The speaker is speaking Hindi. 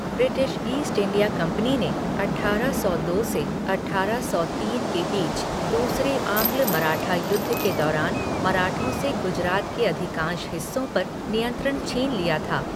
ब्रिटिश ईस्ट इंडिया कंपनी ने अट्ठारह सौ दो से अट्ठारह सौ तीन के बीच दूसरे आंग्ल मराठा युद्ध के दौरान मराठों से गुजरात के अधिकांश हिस्सों पर नियंत्रण छीन लिया था।